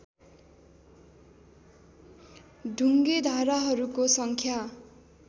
ढुङ्गे धाराहरूको सङ्ख्या